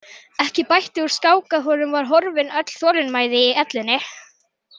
Ekki bætti úr skák að honum var horfin öll þolinmæði í ellinni.